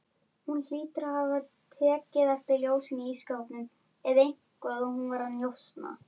Þú verður að skilja.